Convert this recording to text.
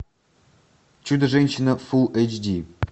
чудо женщина фул эйч ди